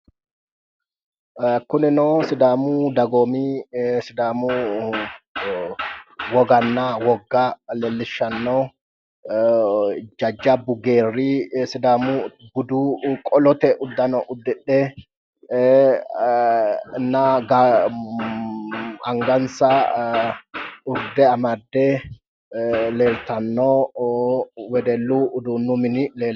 Kunino sidaamu dagoomi sidaamu woganna wogga leelishano jajjabu geeri sidaamu budu qollote uduune udidhenna angansa urde amade leeltano wedullu uduunu minni leeltano.